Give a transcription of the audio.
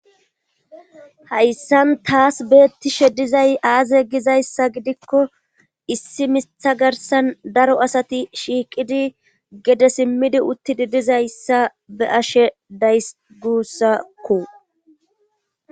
hayssan taas beettishe dizay aaze gizayssa gidikko issi mitha garsan daro asati shiiqidi gede simmidi uttidi dizayssa be'ashe days gussakko